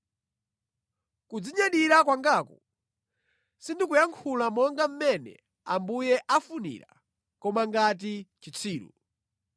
Kudzinyadira kwangaku, sindikuyankhula monga mmene Ambuye akufunira koma ngati chitsiru.